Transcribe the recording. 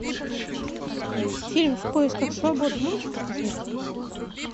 фильм в поисках свободы можешь показать